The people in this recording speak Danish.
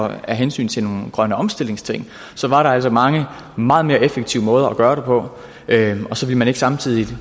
af hensyn til nogle grønne omstillingsting var der mange meget mere effektive måder at gøre det på og så ville man ikke samtidig